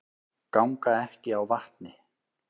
Ganga ekki á vatni